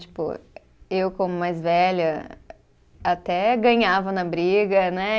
Tipo, eu como mais velha, até ganhava na briga, né?